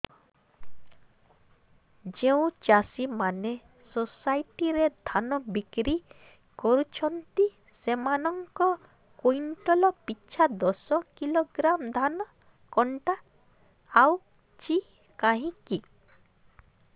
ଯେଉଁ ଚାଷୀ ମାନେ ସୋସାଇଟି ରେ ଧାନ ବିକ୍ରି କରୁଛନ୍ତି ସେମାନଙ୍କର କୁଇଣ୍ଟାଲ ପିଛା ଦଶ କିଲୋଗ୍ରାମ ଧାନ କଟା ଯାଉଛି କାହିଁକି